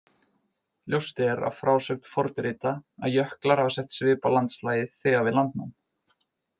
Ljóst er af frásögn fornrita að jöklar hafa sett svip á landslagið þegar við landnám.